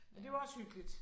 Men det er jo også hyggeligt